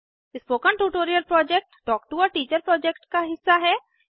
spoken tutorial project talk to a teacher project का हिस्सा है